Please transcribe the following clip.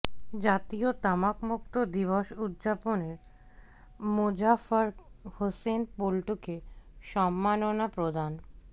জাতীয় তামাকমুক্ত দিবস উদযাপন মোজাফফর হোসেন পল্টুকে সম্মাননা প্রদান